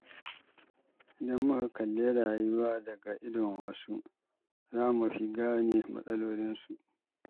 Idan muka kalli rayuwa daga idon wasu, za mu fi gane matsalolinsu.